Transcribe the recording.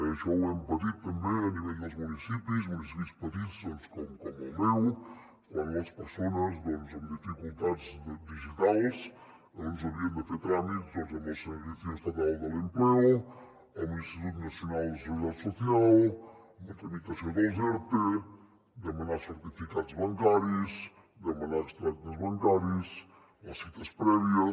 això ho hem patit també a nivell dels municipis municipis petits doncs com el meu quan les persones amb dificultats digitals havien de fer tràmits amb el servicio estatal del empleo amb l’institut nacional de la seguridad social amb la tramitació dels erte demanar certificats bancaris demanar extractes bancaris les cites prèvies